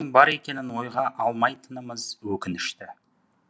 соның бар екенін ойға алмайтынымыз өкінішті